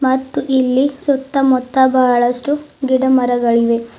ಮತ್ತು ಇಲ್ಲಿ ಸುತ್ತಮುತ್ತ ಬಹಳಷ್ಟು ಗಿಡ ಮರಗಳಿವೆ.